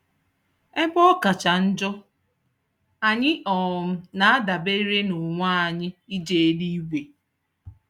Ebe ọ kacha njọ, anyị um na-adabere n'onwe anyị ije eluigwe